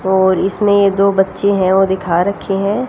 और इसमे दो बच्चे हैं ओ दिखा रखे हैं।